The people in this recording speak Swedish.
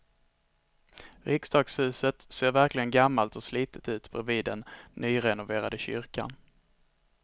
Riksdagshuset ser verkligen gammalt och slitet ut bredvid den nyrenoverade kyrkan.